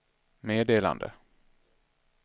meddelande